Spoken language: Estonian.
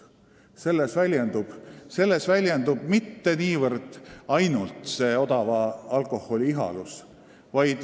Selles ei väljendu mitte niivõrd odava alkoholi ihalus.